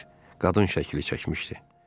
Amma Nadir qadın şəkli çəkmişdi.